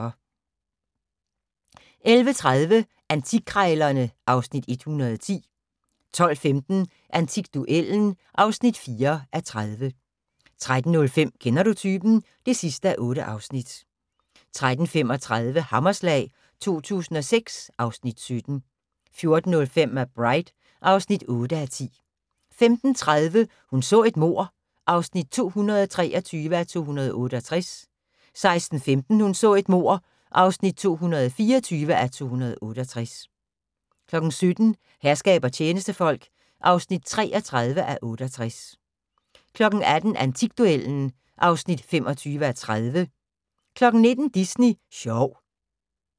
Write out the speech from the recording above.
11:30: Antikkrejlerne (Afs. 110) 12:15: Antikduellen (4:30) 13:05: Kender du typen? (8:8) 13:35: Hammerslag 2006 (Afs. 17) 14:05: McBride (8:10) 15:30: Hun så et mord (223:268) 16:15: Hun så et mord (224:268) 17:00: Herskab og tjenestefolk (33:68) 18:00: Antikduellen (25:30) 19:00: Disney sjov